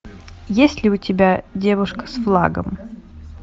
есть ли у тебя девушка с флагом